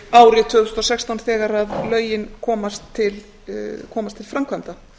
árið tvö þúsund og sextán þegar lögin komast til framkvæmda